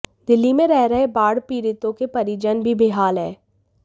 दिल्ली में रह रहे बाढ़ पीड़ितों के परिजन भी बेहाल हैं